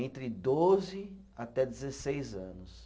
Entre doze até dezesseis anos.